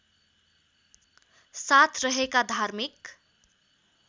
साथ रहेका धार्मिक